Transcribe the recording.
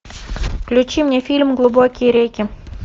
включи мне фильм глубокие реки